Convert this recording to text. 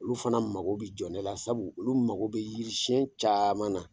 Olu fana mago bi jɔ ne la, sabu olu mago bɛ yirisiyɛn caman na.